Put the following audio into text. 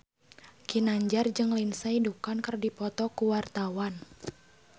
Ginanjar jeung Lindsay Ducan keur dipoto ku wartawan